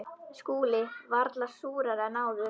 SKÚLI: Varla súrari en áður.